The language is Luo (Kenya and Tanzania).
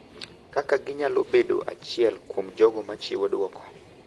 kaka ginyalo bedo achiel kuom jogo ma chiwo duoko